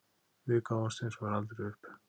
Við gáfumst hins vegar aldrei upp